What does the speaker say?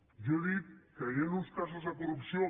jo he dit que hi han uns casos de corrupció